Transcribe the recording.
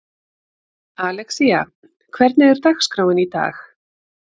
Alexía, hvernig er dagskráin í dag?